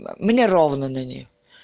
да мне ровно на нее